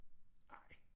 Ej